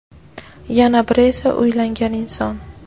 yana biri esa uylangan inson.